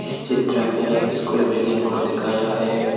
इस चित्र में एक स्कूल बिल्डिंग को दिखाया है।